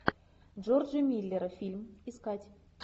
джорджи миллера фильм искать